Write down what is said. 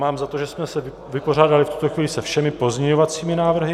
Mám za to, že jsme se vypořádali v tuto chvíli se všemi pozměňovacími návrhy.